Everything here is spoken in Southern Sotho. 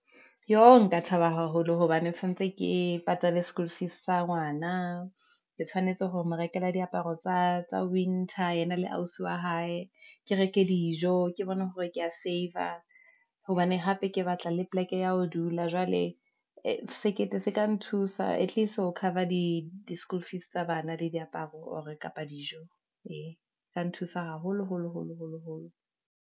Yooh nka thaba haholo hobane sanetse ke patale sekolo fees sa ngwana, ke tshwanetse hore mo rekela diaparo tsa winter, yena le ausi wa hae, ke reke dijo, ke bone hore ke ya saver, hobane hape ke batla le poleke ya ho dula, jwale ee, sekete se ka nthusa at least ho cover di school fees tsa bana, le diaparo or kapa dijo, ee ka nthusa haholo holo, holo, holo.